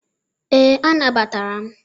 ee, anagbatara m.